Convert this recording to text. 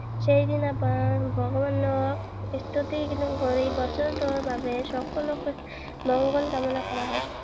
সেইদিনা ভগৱানক স্তুতি কৰি বছৰটোৰ বাবে সকলোৰে মঙ্গল কামনা কৰা হয়।